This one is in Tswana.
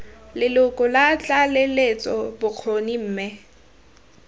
leloko la tlaleletso bokgoni mme